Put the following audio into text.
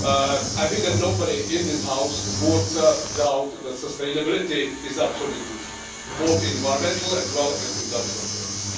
I think nobody in this House would doubt that sustainability is absolutely crucial, both in environmental as well as industrial terms.